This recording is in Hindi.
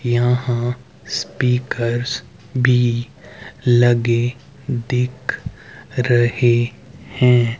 यहां स्पीकर्स भी लगे दिख रहे हैं।